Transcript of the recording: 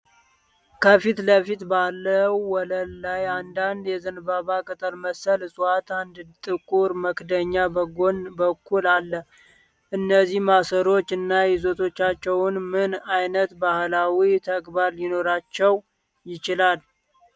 ከፊት ለፊት ባለው ወለል ላይ አንዳንድ የዘንባባ ቅጠል መሰል እፅዋትና አንድ ጥቁር መክደኛ በጎን በኩልአለ። እነዚህ ማሰሮዎች እና ይዘቶቻቸው ምን ዓይነት ባህላዊ ተግባር ሊኖራቸው ይችላል?